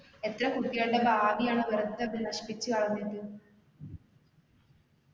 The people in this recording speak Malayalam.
എത്ര കുട്ടികളുടെ ഭാവിയാണ് അവിടെ വെറുതെ അത് നശിപ്പിച്ച് കളഞ്ഞിട്ട്